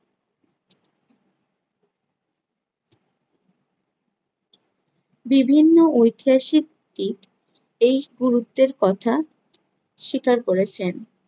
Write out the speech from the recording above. বিভিন্ন ঐতিহাসিক এই গুরুত্বের কথা স্বীকার করেছেন।